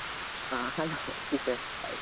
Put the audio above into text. ಹಾ hello Srikar hai.